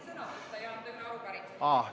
Ei ole.